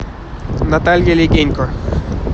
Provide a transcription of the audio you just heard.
наталья легенько